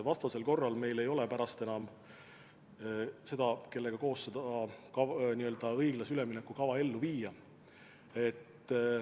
Vastasel korral meil ei ole pärast enam inimesi, kellega koos seda õiglase ülemineku kava ellu viia.